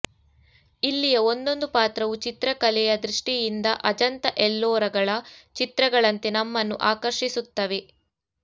ಇಲ್ಲಿಯ ಒಂದೊಂದು ಪಾತ್ರವೂ ಚಿತ್ರಕಲೆಯ ದೃಷ್ಟಿಯಿಂದ ಅಜಂತ ಎಲ್ಲೋರಗಳ ಚಿತ್ರಗಳಂತೆ ನಮ್ಮನ್ನು ಆಕರ್ಷಿಸುತ್ತವೆ